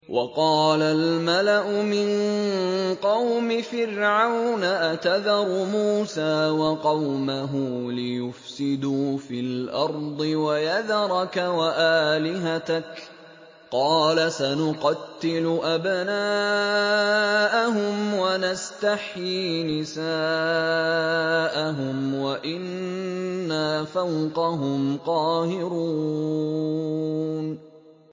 وَقَالَ الْمَلَأُ مِن قَوْمِ فِرْعَوْنَ أَتَذَرُ مُوسَىٰ وَقَوْمَهُ لِيُفْسِدُوا فِي الْأَرْضِ وَيَذَرَكَ وَآلِهَتَكَ ۚ قَالَ سَنُقَتِّلُ أَبْنَاءَهُمْ وَنَسْتَحْيِي نِسَاءَهُمْ وَإِنَّا فَوْقَهُمْ قَاهِرُونَ